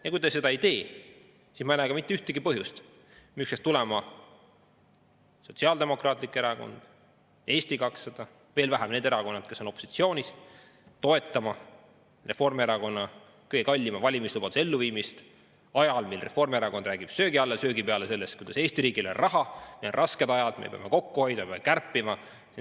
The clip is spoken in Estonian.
Ja kui te seda ei tee, siis ma ei näe mitte ühtegi põhjust, miks peaks tulema Sotsiaaldemokraatlik Erakond, Eesti 200, veel vähem need erakonnad, kes on opositsioonis, toetama Reformierakonna kõige kallima valimislubaduse elluviimist ajal, kui Reformierakond räägib söögi alla ja söögi peale sellest, kuidas Eesti riigil ei ole raha ja meil on rasked ajad, me peame kokku hoidma, me peame kärpima.